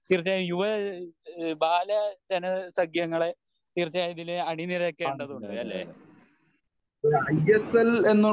യുവ ബാല ജന സഖ്യങ്ങളെ തീർച്ചയായും ഇതില് അണിനിരക്കേണ്ടതുണ്ട് അല്ലെ?